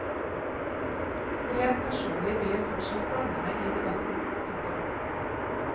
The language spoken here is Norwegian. Rent personlig vil jeg fortsatt blande meg i debatten. punktum